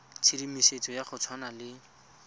tshedimosetso ya go tshwana le